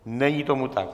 Není tomu tak.